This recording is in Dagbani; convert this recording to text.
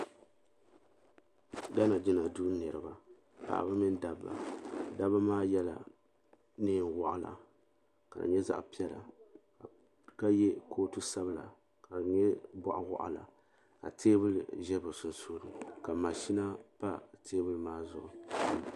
Gana jina duu niriba paɣaba mini dabba dabba maa yela niɛn waɣala ka nyɛ zaɣa piɛla ka ye kootu sabla ka di nyɛ boɣawaɣala ka teebuli ʒɛ bɛ sunsuuni ka maʒina pa bɛ teebuli maa zuɣu.